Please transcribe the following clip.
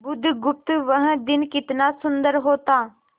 बुधगुप्त वह दिन कितना सुंदर होता